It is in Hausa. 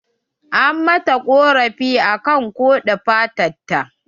An mata ƙorafi akan ƙode fatan ta